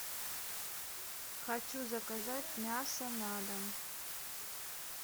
хочу заказать мясо на дом